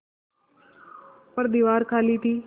पर दीवार खाली थी